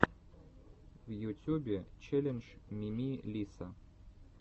в ютюбе челлендж мими лисса